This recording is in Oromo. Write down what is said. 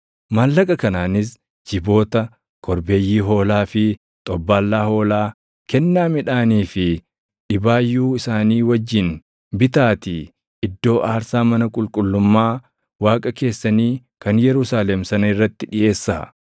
Maallaqa kanaanis jiboota, korbeeyyii hoolaa fi xobbaallaa hoolaa, kennaa midhaanii fi dhibaayyuu isaanii wajjin bitaatii iddoo aarsaa mana qulqullummaa Waaqa keessanii kan Yerusaalem sana irratti dhiʼeessaa.